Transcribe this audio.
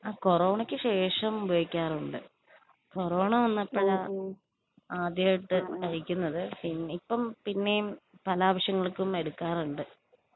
ആഹ് കോറോണക്ക് ശേഷം ഉപയോഗിക്കാറുണ്ട്. കൊറോണ വന്നപ്പൊ ഞാൻ ആദ്യമായിട്ട് കഴിക്കുന്നത് പിന്നെ ഇപ്പം പിന്നേം പല ആവശ്യങ്ങൾക്കും എടുക്കാറുണ്ട്.